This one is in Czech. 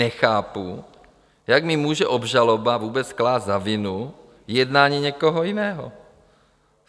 Nechápu, jak mi může obžaloba vůbec klást za vinu jednání někoho jiného?